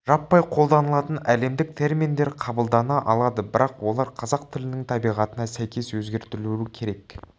жаппай қолданылатын әлемдік терминдер қабылдана алады бірақ олар қазақ тілінің табиғатына сәйкес өзгертілуі керек